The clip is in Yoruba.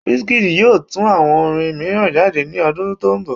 Wizkid yoo tu awo orin miiran jade ni ọdun to nbọ